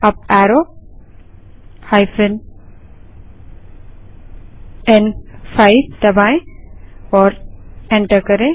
up arrow n5 दबायें और enter करें